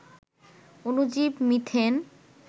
অনুজীব methane